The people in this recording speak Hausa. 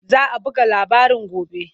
Za a buga labarin gobe.